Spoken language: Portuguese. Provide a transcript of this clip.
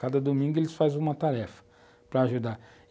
Cada domingo eles fazem uma tarefa para ajudar.